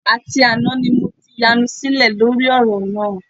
Àti àná ni mo ti yanu sílẹ̀ lórí ọ̀rọ̀ náà